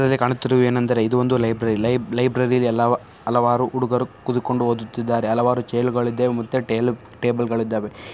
ಇದರಲ್ಲಿ ಕಾಣುತ್ತಿರುವುದು ಏನೆಂದರೆ ಇದು ಒಂದು ಲೈಬ್ರರಿ . ಲೈ ಲೈಬ್ರರಿ ಅಲ್ಲಿ ಅಲವಾರು ಉಡುಗರು ಕೂತುಕೊಂಡು ಓದುತ್ತಿದ್ದಾರೆ. ಅಲವಾರು ಚೇರ್ ಗಳಿದೆ ಮತ್ತೆ ಟೇ ಟೇಬಲ್ ಗಳಿದ್ದಾವೆ.